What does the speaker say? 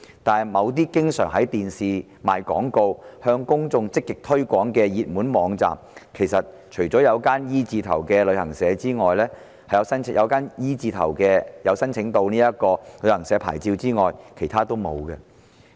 但是，某些經常透過電視廣告向公眾積極推廣的熱門網站之中，除了那間名稱以字母 "E" 字起首的旅行社有申請牌照外，其他的都沒有。